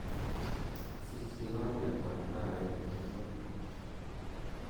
sich kigombet ab kahawek inguni